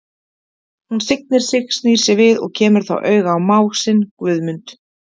Hún signir sig, snýr sér við og kemur þá auga á mág sinn, Guðmund.